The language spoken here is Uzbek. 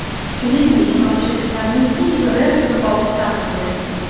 Shuningdek, tomoshabinlarning hech biri niqob taqmagan.